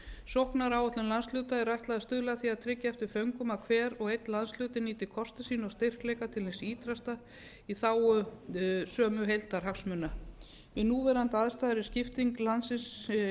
sóknaráætlun landshluta er ætlað að stuðla að því að tryggja eftir föngum að hver og einn landshluti nýti kosti sína og styrkleika til hins ýtrasta í þágu sömu heildarhagsmuna við núverandi aðstæður er skiptingu landsins